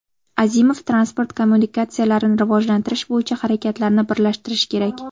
Azimov: transport kommunikatsiyalarini rivojlantirish bo‘yicha harakatlarni birlashtirish kerak.